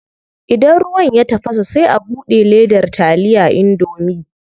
Idan ruwan ya tafasa sai a bude ledar taliya indomie.